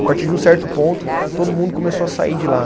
A partir de um certo ponto, todo mundo começou a sair de lá.